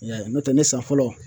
I y'a ye n'o tɛ ne san fɔlɔ